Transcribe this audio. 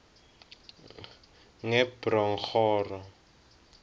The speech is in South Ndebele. ngebronghoro